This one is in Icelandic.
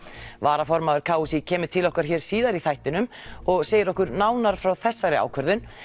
varaformaður k s í kemur til okkar hér síðar í þættinum og segir okkur nánar frá þessari ákvörðun